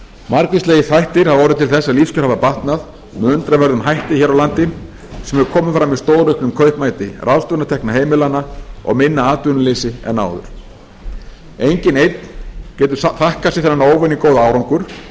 margvíslegir þættir hafa orðið til þess að lífskjör hafa batnað með undraverðum hætti hér á landi sem hefur komið fram í stórauknum kaupmætti ráðstöfunartekna heimilanna og minna atvinnuleysi en áður enginn einn getur þakkað sér þennan óvenju góða árangur en